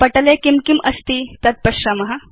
पटले किं किम् अस्ति तद् पश्याम